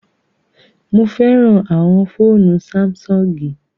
Mo fẹràn àwọn fóònù Sáḿsọ̀ngì